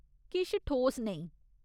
किश ठोस नेईं।